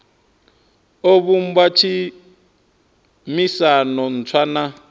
o vhumba tshumisano ntswa na